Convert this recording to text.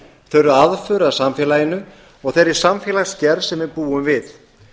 þau eru aðför að samfélaginu og þeirri samfélagsgerð sem við búum við